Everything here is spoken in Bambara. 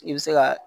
I bɛ se ka